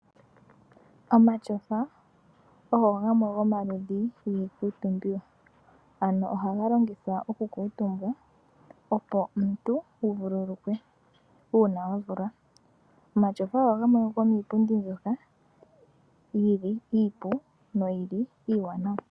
Omatyofa ogo gamwe gomaludhi giikuutumbiwa, ano ohaga longithwa okukuutumbwa, opo omuntu wuvululukwe uuna wavulwa. Omatyofa ogo gamwe gomiipundi mbyoka yili iipu noyili iiwanawa.